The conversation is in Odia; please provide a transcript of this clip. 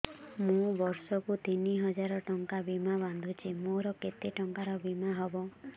ମୁ ବର୍ଷ କୁ ତିନି ହଜାର ଟଙ୍କା ବୀମା ବାନ୍ଧୁଛି ମୋର କେତେ ଟଙ୍କାର ବୀମା ହବ